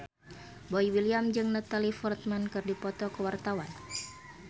Boy William jeung Natalie Portman keur dipoto ku wartawan